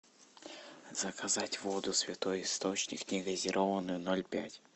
заказать воду святой источник негазированную ноль пять